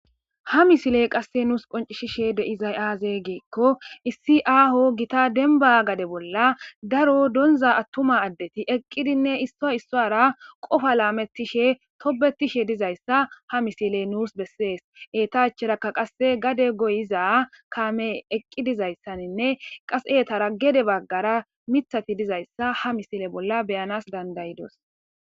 Ha misilley nussi qoncisizzay aybe gikko issi aho gitta dembba gadde bolla darro donzza attuma addeti eqqiddi issoy isara qoffa lametishenne tobetishe dayssa ha misilezzi besees etta acharaka qasse gadde goyizza kammey eqqi dizzaysanne hebagara mithati dizzayssa hamissillen beyanas dandayiddos.